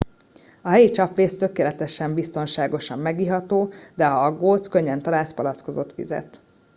a helyi csapvíz tökéletesen biztonságosan megiható de ha aggódsz könnyen találsz palackozott vizet